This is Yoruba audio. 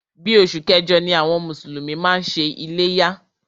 Bí oṣù kẹjọ ni àwọn mùsùlùmí máa ń ṣe iléyá.